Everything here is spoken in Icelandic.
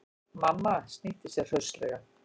Mamma snýtti sér hraustlega.